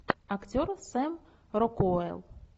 актер сэм рокуэлл